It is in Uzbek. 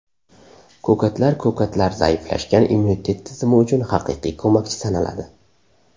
Ko‘katlar Ko‘katlar zaiflashgan immunitet tizimi uchun haqiqiy ko‘makchi sanaladi.